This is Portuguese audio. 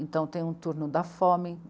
Então, tem um turno da fome.